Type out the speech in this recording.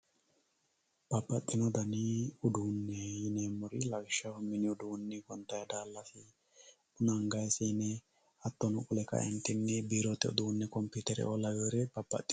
babbaxino dani uduunne yineemmohu lawishshaho gonxanni daallasi, buna anganni siine, hattono qole kaeentinni biirote uduunne kompiitereoo laweere babbaxeworeeti.